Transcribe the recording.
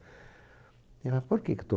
Ela, por que que